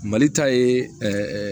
Mali ta ye